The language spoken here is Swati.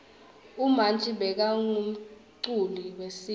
umanji bekangumculi wesintfu